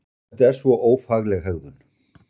Þetta er svo ófagleg hegðun!